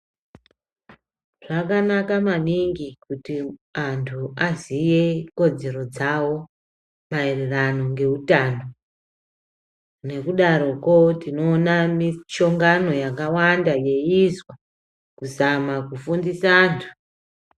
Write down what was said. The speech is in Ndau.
Zvakanaka maningi kuti antu aziye kodzero dzavo maererano ngeutano nekudaroko tinoona mishangano yakawanda yeyiizwa kuzama kufundisa vantu.